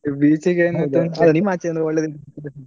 ನಿಮ್ ಆಚೆ ಒಳ್ಳೆ,